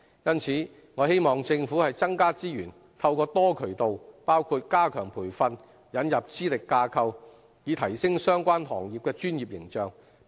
因此，我希望政府增加資源，透過多渠道，包括加強培訓，引入資歷架構，以提升相關行業的專業形象。